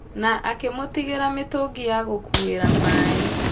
Na akĩmũtigira mĩtũngi ya gũkuuĩra maĩ.